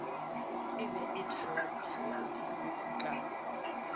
e be e thalathadilwe ka